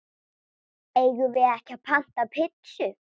Eigum við ekki panta pitsu?